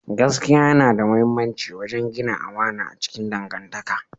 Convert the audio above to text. Gaskiya yana da mahimmanci wajen gina amana a cikin dangantaka